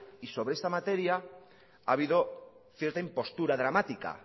y sobre esta materia ha habido cierta impostura dramática